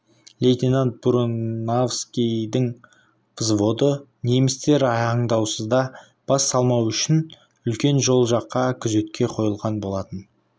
лейтенант буранаевскийдің взводы немістер аңдаусызда бас салмауы үшін үлкен жол жаққа күзетке қойылған болатын